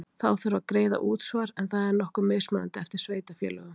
Þá þarf að greiða útsvar en það er nokkuð mismunandi eftir sveitarfélögum.